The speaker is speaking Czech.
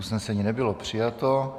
Usnesení nebylo přijato.